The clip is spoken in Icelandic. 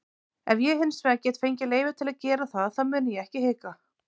Ef ég hinsvegar get fengið leyfi til að gera það þá mun ég ekki hika.